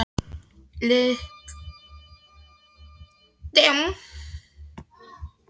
Líttu bara á landsfundi beggja stóru stjórnmálaflokkanna og forsetakosningarnar.